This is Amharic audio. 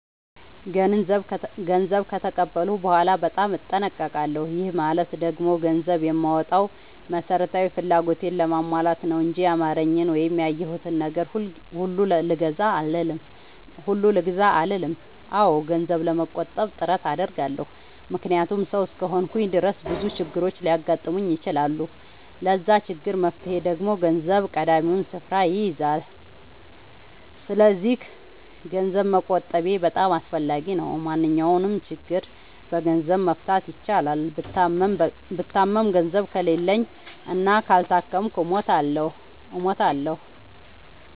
ገንዘብ ከተቀበልኩ በኋላ በጣም እጠነቀቃለሁ። ይህ ማለት ደግሞ ገንዘብ የማወጣው መሠረታዊ ፍላጎቴን ለማሟላት ነው እንጂ ያማረኝን ወይም ያየሁትን ነገር ሁሉ ልግዛ አልልም። አዎ ገንዘብ ለመቆጠብ ጥረት አደርጋለሁ። ምክንያቱም ሠው እስከሆንኩኝ ድረስ ብዙ ችግሮች ሊያጋጥሙኝ ይችላሉ። ለዛ ችግር መፍትሄ ደግሞ ገንዘብ ቀዳሚውን ስፍራ ይይዛል። ሰስለዚክ ገንዘብ መቆጠቤ በጣም አስፈላጊ ነው። ማንኛውንም ችግር በገንዘብ መፍታት ይቻላል። ብታመም ገንዘብ ከሌለኝ እና ካልታከምኩ እሞታሁ።